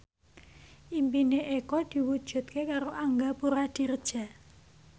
impine Eko diwujudke karo Angga Puradiredja